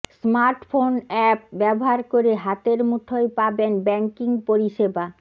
smartphone app ব্যবহার করে হাতের মুঠোয় পাবেন ব্যাঙ্কিং পরিষেবা